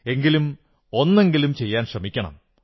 എങ്കിലും ഒന്നെങ്കിലും ചെയ്യാൻ ശ്രമിക്കണം